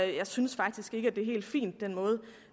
jeg synes faktisk ikke at på er helt fin